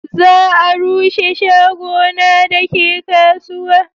za a rushe shago na da ke kasuwa